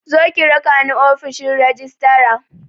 Zo ki rakani ofishin rajistira